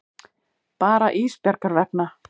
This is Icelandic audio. Bara Ísbjargar vegna.